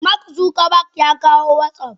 Mark Zuckerberg yakawo watsap.